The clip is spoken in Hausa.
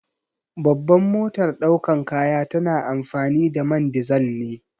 Babban motar daukar kaya tana amfani da man dizal ne.